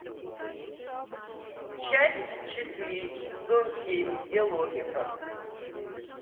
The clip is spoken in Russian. часть четыре сезон семь где логика